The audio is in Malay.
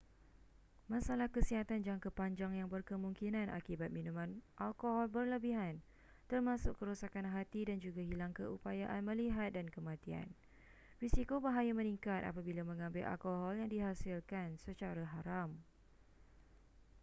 masalah kesihatan jangka panjang yang berkemungkinan akibat minuman alkohol berlebihan termasuk kerosakan hati dan juga hilang keupayaan melihat dan kematian risiko bahaya meningkat apabila mengambil alkohol yang dihasilkan secara haram